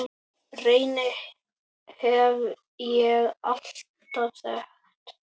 Reyni hef ég alltaf þekkt.